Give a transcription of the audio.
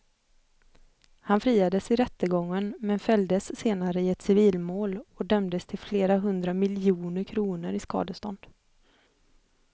Han friades i rättegången men fälldes senare i ett civilmål och dömdes till flera hundra miljoner kronor i skadestånd.